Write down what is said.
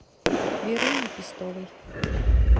веруни пестовой